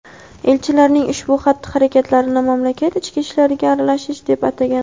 elchilarning ushbu xatti-harakatlarini mamlakat ichki ishlariga aralashish deb atagan.